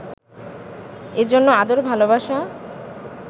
এজন্য আদর, ভালোবাসা